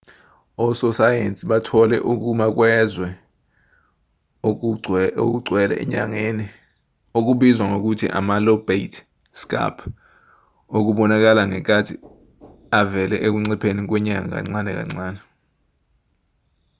ososayensi bathole ukuma kwezwe okugcwele enyangeni okubizwa ngokuthi ama-lobate scarp okubonakala sengathi avele ekuncipheni kwenyanga kancane kancane